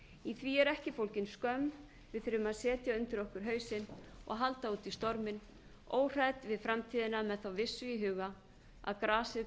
í því er ekki fólgin skömm við þurfum að setja undir okkur hausinn og halda út í storminn óhrædd við framtíðina með þá vissu í huga að grasið